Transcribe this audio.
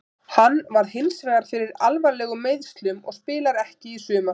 Hann varð hinsvegar fyrir alvarlegum meiðslum og spilar ekki í sumar.